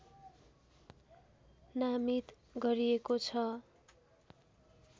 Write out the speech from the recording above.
नामित गरिएको छ